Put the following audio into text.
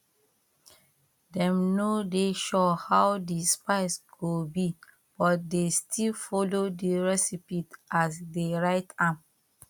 dem no dey sure how the spice go be but they still follow the recipe as dey write am